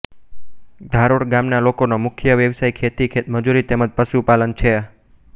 ધારોડ ગામના લોકોનો મુખ્ય વ્યવસાય ખેતી ખેતમજૂરી તેમ જ પશુપાલન છે